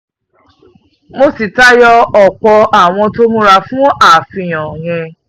mo sì tayọ ọ̀pọ̀ àwọn tó múra fún àfihàn yẹn